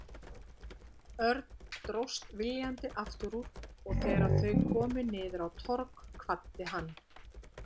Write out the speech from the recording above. Örn dróst viljandi aftur úr og þegar þau komu niður á Torg kvaddi hann.